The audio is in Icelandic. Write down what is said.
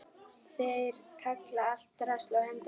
Þeir kalla allt drasl og henda öllu.